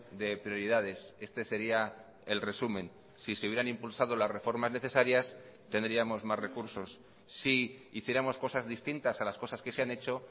de prioridades este sería el resumen si se hubieran impulsado las reformas necesarias tendríamos más recursos si hiciéramos cosas distintas a las cosas que se han hecho